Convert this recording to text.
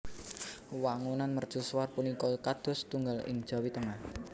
Wangunan mercusuar punika kados setunggal ing Jawi Tengah